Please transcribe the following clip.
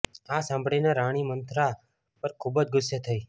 આ સાંભળીને રાણી મંથરા પર ખુબ જ ગુસ્સે થઇ